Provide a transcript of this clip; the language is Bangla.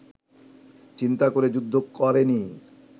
চিন্তা করে যুদ্ধ করেনি